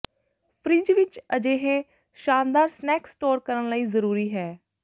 fridge ਵਿਚ ਅਜਿਹੇ ਸ਼ਾਨਦਾਰ ਸਨੈਕ ਸਟੋਰ ਕਰਨ ਲਈ ਜ਼ਰੂਰੀ ਹੈ